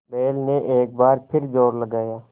बैल ने एक बार फिर जोर लगाया